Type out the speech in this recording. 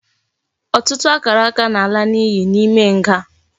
Ututu akaraka na ala na iyi na ime nga